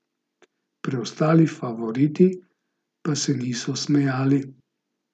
Preostali favoriti pa se niso smejali.